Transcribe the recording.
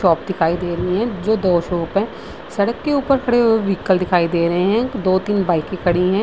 Shop दिखाई दे री हैं जो दो शॉप हैं सड़क के ऊपर खड़े हुए वीइकल दिखाई दे रहे हें दो-तीन बाइके खड़ी हैं।